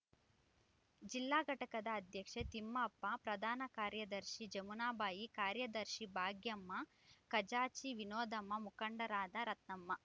ಜಿಲ್ಲಾ ಘಟಕದ ಅಧ್ಯಕ್ಷೆ ತಿಪ್ಪಮ್ಮ ಪ್ರಧಾನ ಕಾರ್ಯದರ್ಶಿ ಜಮುನಾಬಾಯಿ ಕಾರ್ಯದರ್ಶಿ ಭಾಗ್ಯಮ್ಮ ಖಜಾಂಚಿ ವಿನೋಧಮ್ಮ ಮುಖಂಡರಾದ ರತ್ನಮ್ಮ